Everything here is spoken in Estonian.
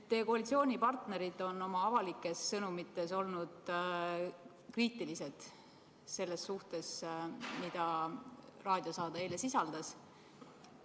Teie koalitsioonipartnerid on oma avalikes sõnumites olnud kriitilised selle suhtes, mida eilne raadiosaade sisaldas.